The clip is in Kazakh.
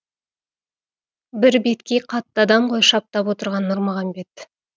бір беткей қатты адам ғой шаптап отырған нұрмағамбет